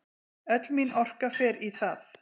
Öll mín orka fer í það.